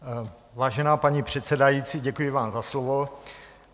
Vážená paní předsedající, děkuji vám za slovo.